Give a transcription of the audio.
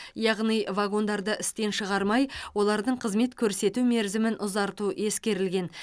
яғни вагондарды істен шығармай олардың қызмет көрсету мерзімін ұзарту ескерілген